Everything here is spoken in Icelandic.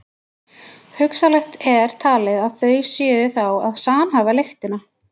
Hugsanlegt er talið að þau séu þá að samhæfa lyktina.